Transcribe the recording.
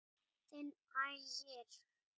Þinn Ægir.